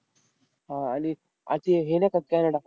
हा. आणि आजचे हे नाही कॅनडा?